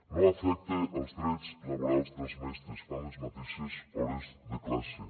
no afecta els drets laborals dels mestres fan les mateixes hores de classe